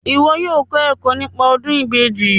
Iwọ yóò kọ ẹkọ nípa ọdun ìbejì